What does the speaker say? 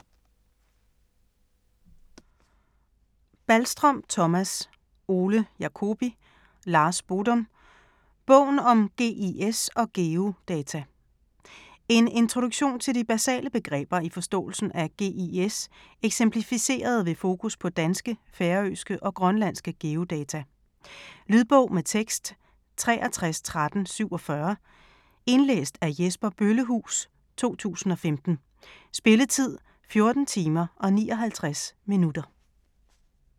Balstrøm, Thomas, Ole Jacobi, Lars Bodum: Bogen om GIS og geodata En introduktion til de basale begreber i forståelsen af GIS eksemplificeret ved fokus på danske, færøske og grønlandske geodata. Lydbog med tekst 631347 Indlæst af Jesper Bøllehuus, 2015. Spilletid: 14 timer, 59 minutter.